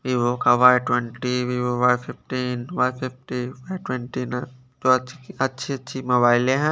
Vivo का Y twenty Vivo Y fifteen Y fifty ट्वेंटीन थोडा अच्छी अच्छी मोबाइले हैं।